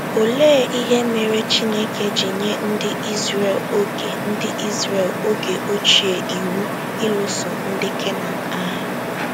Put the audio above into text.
Olee ihe mere Chineke ji nye ndị Izrel oge ndị Izrel oge ochie iwu ịlụso ndị Kenan agha?